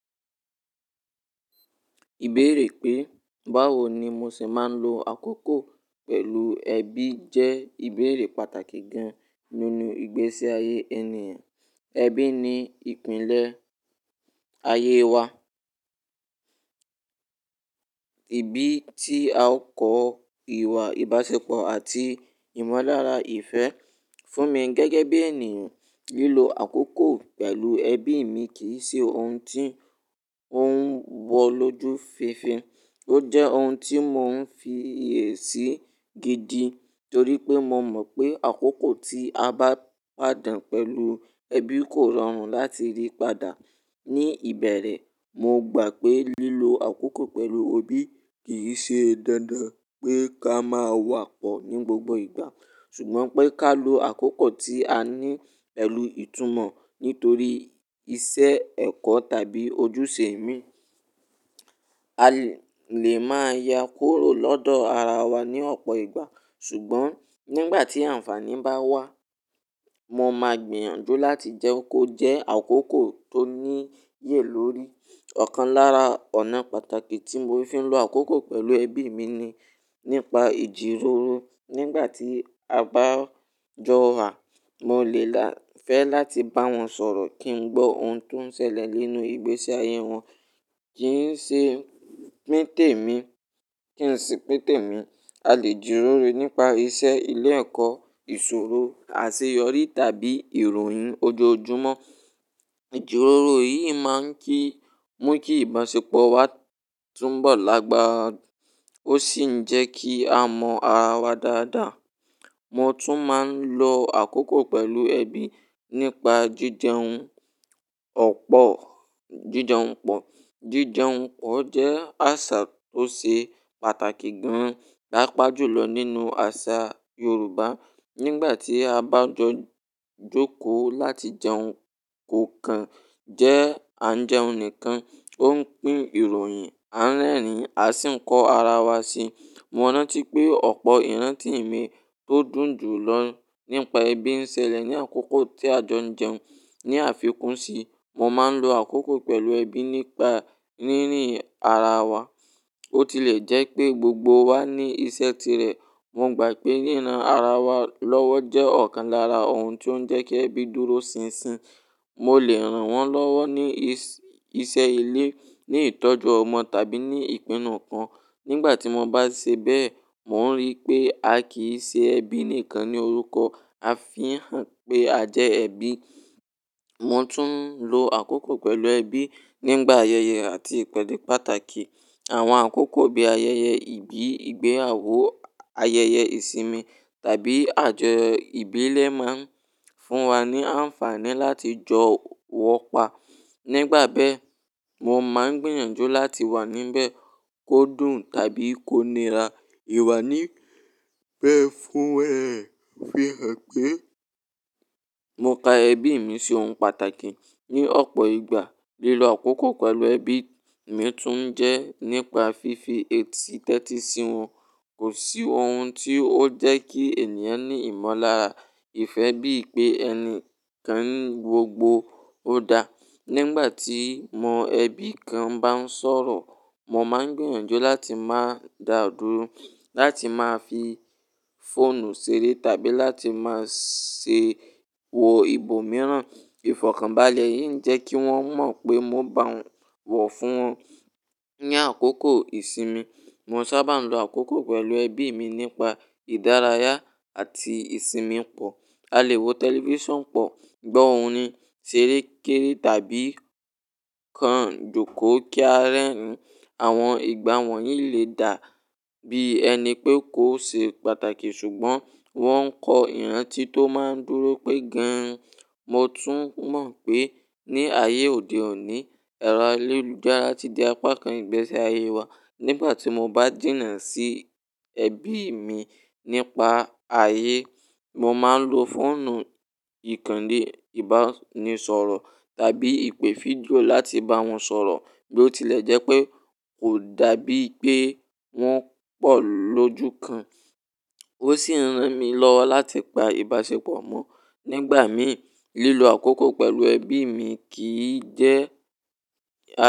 Ìbéèrè pé báwo ni mo ṣe máa ń lo àkókò pẹ̀lú ẹbí jẹ́ ìbéèrè pàtàkì gan-an nínú ìgbésí ayé ènìyàn. Ẹbí ni ìpìlẹ̀ ayé wa, ibi tí a ó kọ ìwà ìbáṣepọ̀ àti ìmọ̀lára ìfẹ́. Fún mi gẹ́gẹ́ bí ènìyàn, lílo àkókò pẹ̀lú ẹbí mi kì í ṣe ohun tí ó ń wọ lójú fińfiń. Ó jẹ́ ohun tí mò ń fi iyesí gidi torí pé mo mọ̀ pé àkókò tí a bá pàdàn pẹ̀lú ẹbí kò rọrùn láti rí padà. Ni ìbẹ̀rẹ̀, mo gbà pé lílo àkókò pẹ̀lú ẹbí kì í ṣe dandan pé ká máa wà pọ̀ ní gbogbo ìgbà, ṣùgbọ́n pé ká lo àkókò tí a ní pẹ̀lú ìtumọ̀, nítorí iṣẹ́ ẹ̀kọ́ tàbí ojúṣe mi. A lè máa ya kúrò lọ́dọ̀ ara wa ní ọ̀pọ̀ ìgbà, ṣùgbọ́n nígbà tí àǹfàní bá wá, mo máa gbìyànjú láti jẹ́ kó jẹ́ àkókò tó níyè lórí. Ọ̀kan lára ọ̀nà pàtàkì tí mo fi ń lo àkókò pẹ̀lú ẹbí mi ni nípa ìjíròrò. Nígbà tí a bá jọ wà, mo lè fẹ́ láti bá wọn sọ̀rọ̀ kí n gbọ́ ohun tó ń ṣẹlẹ̀ nínú ìgbésí ayé wọn, kí i ṣe pín tèmi, kí ń ṣi pín tèmi. A lè jìròrò nípa iṣẹ́ ilé ẹ̀kọ́, ìṣòro, àṣeyọrí tàbí ìròyìn ojoojúmọ́. Ìjíròrò yìí máa ń mú kí ìbáṣepọ̀ wa túbọ̀ lágbára, ó sì ń jẹ́ kí a mọ̀ ara wa dáadáa. Mo tún máa ń lo àkókò pẹ̀lú ẹbí nípa jíjẹun ọ̀pọ̀, jíjẹun pọ̀. Jíjẹun pọ̀ jẹ́ àṣà tó ṣe pàtàkì gan-an pápa júlọ nínú àṣà Yorùbá. Nígbà tí a bá jọ jókòó láti jẹun kò kan jẹ́ à ń jẹun nìkan, ó ń pín ìròyìn, a ń rẹ́rìn-ín, a sì ń kọ́ ara wa si. Mo rántí pé ọ̀pọ̀ ìrántí mi tó dùn jù lọ nípa ẹbí ń ṣẹlẹ̀ ní àkókò tí a jọ ń jẹun. Ni àfikún sí, mo máa ń lo àkókò pẹ̀lú ẹbí nípa rí rìn ara wa. Ó ti lè jẹ́ pé gbogbo wa ní iṣẹ́ tirẹ̀. Mo gbà pé ríran ara wa lọ́wọ́ jẹ́ ọ̀kan lára ohun tó ń jẹ́ kí ẹbí dúró sinsin. Mo lè rán wọn lọ́wọ́ ní iṣẹ́ ilé, ní ìtọ́jú ọmọ tàbí ní ìpinnu kan. Nígbà tí mo bá ṣe bẹ́ẹ̀, mò ń rí pé a kì í ṣe ẹbí nìkan ní orúkọ, a fihàn pé a jẹ́ ẹbí. Mo tún ń lo àkókò pẹ̀lú ẹbí nígbà ayẹyẹ àti ìpèdè pàtàkì. Àwọn àkókò bí ayẹyẹ ìbí, ìgbéyàwó, ayẹyẹ ìsinmi tàbí àjọ ìbílẹ̀ máa ń fún wa ní àǹfààní láti jọ wọ́pọ̀. Nígbà bẹ́ẹ̀, mo máa ń gbìyànjú láti wà níbẹ̀ kó dùn tàbí kó nira. Ìwà níbẹ̀ fún ẹ fi hàn pé mo ka ẹbí mi ṣi ohun pàtàkì. Ni ọ̀pọ̀ ìgbà, lílo àkókò pẹ̀lú ẹbí mi tún jẹ́ nípa fífi èsì tẹ́tí sí wọn. Kò sí ohun tí ó jẹ́ kí ènìyàn ní ìmọ̀lára ìfẹ́ bí i pé ẹni kankan gbogbo ó da. Nígbà tí mo ẹbí kan bá ń sọ̀rọ̀, mo máa ń gbìyànjú láti má dàdúró, láti má fi fóònù ṣeré tàbí láti máa ṣe wò ibo mìíràn. Ìfọ̀kànbalẹ̀ yìí ń jẹ́ kí wọ́n mọ̀ pé mo bá wọn wò fún wọn. Ní àkókò ìsinmi, mo sábà ń lo àkókò pẹ̀lú ẹbí mi nípa ìdárayá àti ìsinmi pọ̀. A lè wo tẹlifíṣàn pọ̀, gbọ́ orin, ṣeré kéré tàbí kan jókòó kí a rẹ́rìn-ín. Àwọn ìgbà wọ̀nyí lè dà bí ẹni pé kò ṣe pàtàkì, ṣùgbọ́n wọ́n ń kọ ìrántí tó máa ń dúró pé gan-an. Mo tún mọ̀ pé ní ayé òde òní, ẹ̀rọ ayélujára ti di apá kan ìgbésí ayé wa. Nígbà tí mo bá jìnà sí ẹbí mi nípa ayé, mo máa ń lo fóònù ìkànnì ìbánisọ̀rọ̀ tàbí ìpè fídíò láti bá wọn sọ̀rọ̀ bí ó tilẹ̀ jẹ́ pé kò dàbí pé wọn pọ̀ lójú kan. Ó sì ń ran mi lọ́wọ́ láti pa ìbáṣepọ̀ mọ́. Nígbà mí, lílo àkókò pẹ̀lú ẹbí mi kì í jẹ́ a.